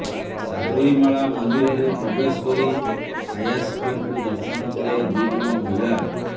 ସାବରୀମାଳା ମନ୍ଦିରରେ ପ୍ରବେଶ କରି ଆୟାପ୍ପାଙ୍କୁ ଦର୍ଶନ କଲେ ଦୁଇ ଜଣ ମହିଳା